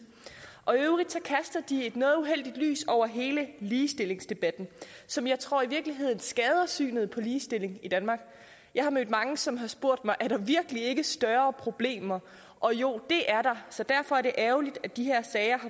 og i øvrigt kaster de et noget uheldigt lys over hele ligestillingsdebatten som jeg tror i virkeligheden skader synet på ligestilling i danmark jeg har mødt mange som har spurgt mig er der virkelig ikke større problemer og jo det er der så derfor er det ærgerligt at de her sager